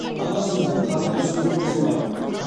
ана сөзінен қадірлі сөз болсын ба